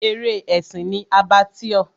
Eré ẹ̀sìn ni Abattoir.